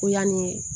Ko yanni